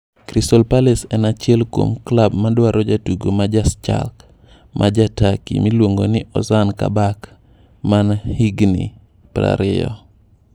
Crystal Palace en achiel kuom klab madwaro jatugo ma ja Schalke ma ja Turkey miluongo ni Ozan Kabak man jahigni 20.